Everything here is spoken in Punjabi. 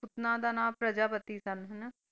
ਦਾ ਨਾਂ ਪ੍ਰਜਾਪਤੀ ਸਨ ਹਨਾ।